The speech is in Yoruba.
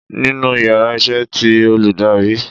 The íyarà iṣẹ tí olùdarí